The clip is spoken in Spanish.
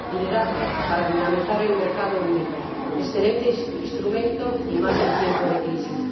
Hace falta liderazgo para dinamizar el mercado único, excelente instrumento y más en tiempo de crisis.